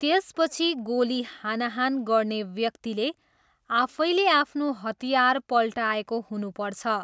त्यसपछि गोली हानाहान गर्ने व्यक्तिले आफैले आफ्नो हतियार पल्टाएको हुनुपर्छ।